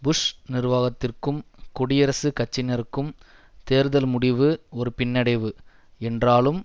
push நிர்வாகத்திற்கும் குடியரசுக் கட்சியினருக்கும் தேர்தல் முடிவு ஒரு பின்னடைவு என்றாலும்